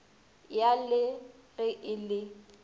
ya le ge e le